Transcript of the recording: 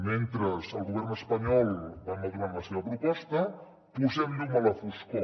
mentre el govern espanyol va madurant la seva proposta posem llum a la foscor